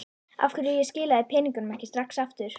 Af hverju ég skilaði peningunum ekki strax aftur.